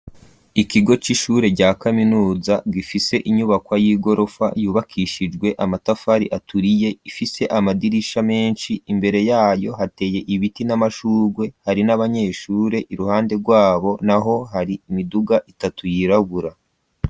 Ikigo c'ishure rya kaminuza gifise inyubako y'igorofa yubakishijwe amatafari aturiye ifise amadirisha menshi, imbere yayo hateye ibiti n'amashugwe hari n'abanyeshure, iruhande rwabo naho hari imiduga itatu yirabura.